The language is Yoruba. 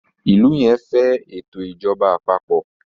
ilú yén fé eto ìjọba àpapọ̀